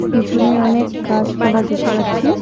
পিছনে অনেক গাছপালা দেখতে পাচ্ছি।